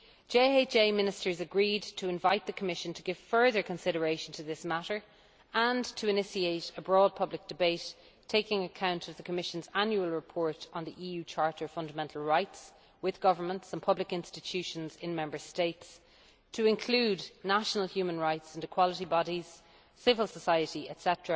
JHA Ministers agreed to invite the Commission to give further consideration to this matter and to initiate a broad public debate taking account of the Commission's Annual Report on the EU Charter of Fundamental Rights with governments and public institutions in Member States, to include national human rights and equality bodies, civil society etc.